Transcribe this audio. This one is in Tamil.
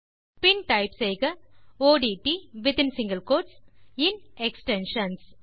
பின் டைப் செய்க ஒட்ட் வித்தின் சிங்கில் கோட்ஸ் இன் எக்ஸ்டென்ஷன்ஸ்